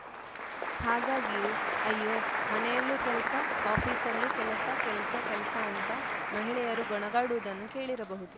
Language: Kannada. ಹಾಗಾಗಿಯೇ ಅಯ್ಯೋ ಮನೆಯಲ್ಲೂ ಕೆಲ್ಸ ಆಫೀಸಲ್ಲೂ ಕೆಲ್ಸ ಕೆಲ್ಸ ಕೆಲ್ಸ ಅಂತ ಮಹಿಳೆಯರು ಗೊಣಗಾಡುವುದನ್ನು ಕೇಳಿರಬಹುದು